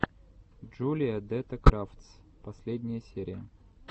джулия дэтта крафтс последняя серия